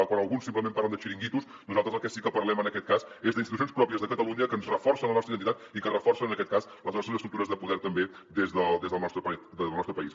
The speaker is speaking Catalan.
quan alguns simplement parlen de txiringuitos nosaltres del que sí que parlem en aquest cas és d’institucions pròpies de catalunya que ens reforcen la nostra identitat i que reforcen en aquest cas les nostres estructures de poder també del nostre país